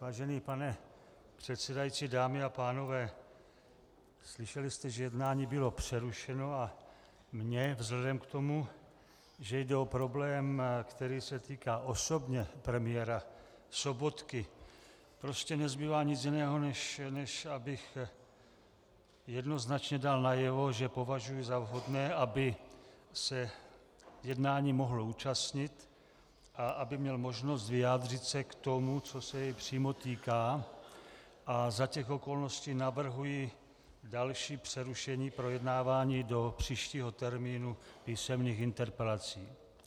Vážený pane předsedající, dámy a pánové, slyšeli jste, že jednání bylo přerušeno, a mně vzhledem k tomu, že jde o problém, který se týká osobně premiéra Sobotky, prostě nezbývá nic jiného, než abych jednoznačně dal najevo, že považuji za vhodné, aby se jednání mohl účastnit a aby měl možnost vyjádřit se k tomu, co se jej přímo týká, a za těch okolností navrhuji další přerušení projednávání do příštího termínu písemných interpelací.